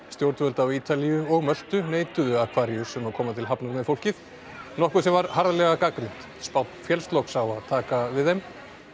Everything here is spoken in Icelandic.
stjórnvöld á Ítalíu og Möltu neituðu Aquarius um að koma til hafnar með fólkið nokkuð sem var harðlega gagnrýnt féllst loks á að taka við þeim